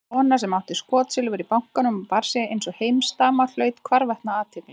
Kona sem átti skotsilfur í bankanum og bar sig einsog heimsdama hlaut hvarvetna athygli.